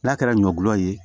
N'a kɛra ɲɔ gulɔ ye